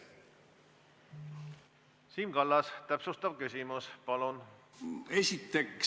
Siim Kallas, täpsustav küsimus, palun!